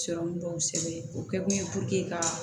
Sirɔmu dɔw sɛbɛn o kɛ kun ye ka